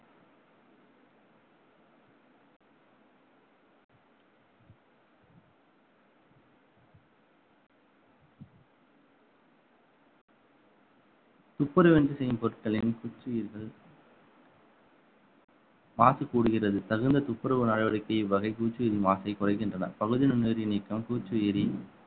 துப்புரவுயின்றி செய்யும் பொருட்களின் பூச்சுயிரிகள் மாசு கூடுகிறது தகுந்த துப்புரவு நடவடிக்கை இவ்வகை பூச்சிகளின் மாசை குறைகின்றன பகுதி நுண்ணுயிரி நீக்கம் பூச்சுயிரி